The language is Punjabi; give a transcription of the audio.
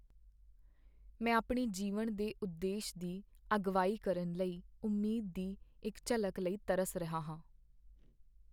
ਮੈਂ ਆਪਣੇ ਜੀਵਨ ਦੇ ਉਦੇਸ਼ ਦੀ ਅਗਵਾਈ ਕਰਨ ਲਈ ਉਮੀਦ ਦੀ ਇੱਕ ਝਲਕ ਲਈ ਤਰਸ ਰਿਹਾ ਹਾਂ।